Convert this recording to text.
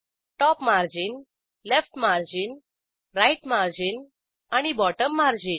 top margin left margin right margin आणि bottom margin